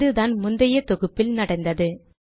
இதுதான் முந்தைய தொகுப்பில் நடந்தது